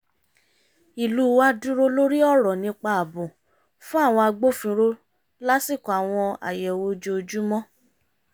ìlú wa dúró lórí ọ̀rọ̀ nípa ààbò fún àwọn agbófinró lásìkò àwọn àyẹ̀wò ojoojúmọ́